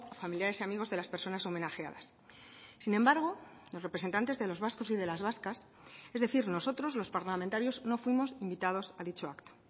familiares y amigos de las personas homenajeadas sin embargo los representantes de los vascos y de las vascas es decir nosotros los parlamentarios no fuimos invitados a dicho acto